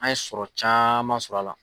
An sɔrɔ caman sɔrɔ a la.